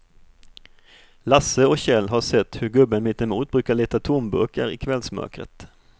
Lasse och Kjell har sett hur gubben mittemot brukar leta tomburkar i kvällsmörkret.